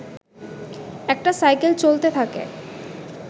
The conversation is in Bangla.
একটা সাইকেল চলতে থাকে